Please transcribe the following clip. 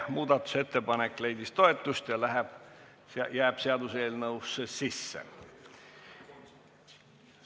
Muudatusettepanek leidis toetust ja läheb seaduseelnõusse sisse.